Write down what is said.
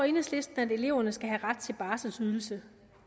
enhedslisten at eleverne skal have ret til en barselsydelse